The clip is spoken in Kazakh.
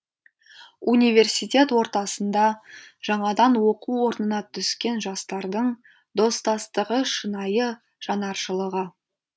университет ортасында жаңадан оқу орнына түскен жастардың достастығы шынайы жанаршылығы